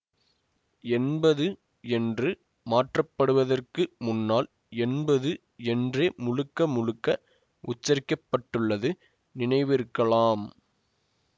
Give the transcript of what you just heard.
என்பது என்று மாற்றப்படுவதற்கு முன்னால் என்பது என்றே முழுக்க முழுக்க உச்சரிக்கப்பட்டுள்ளது நினைவிருக்கலாம்